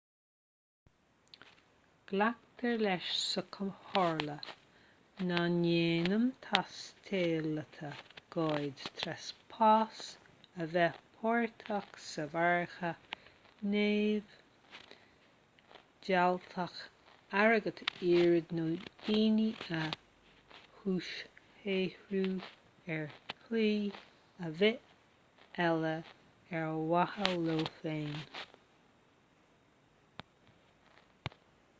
glactar leis sa chomhairle nach ndéanann taistealaithe goid treaspás a bheith páirteach sa mhargadh neamhdhleathach airgead a iarraidh nó daoine a dhúshaothrú ar shlí ar bith eile ar mhaithe leo féin